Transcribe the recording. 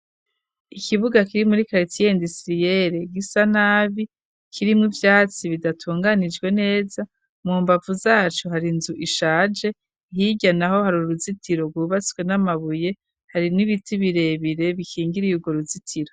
Ikibuga kiri muri kalitsiye indusiriyere gisa nabi kirimwo ivyatsi bidatunganijwe neza mu mbavu zaco hari inzu ishaje hirya naho hari uruzitiro rwubatswe n'amabuye hari n'ibiti birebire bikingiriye urwo ruzitiro.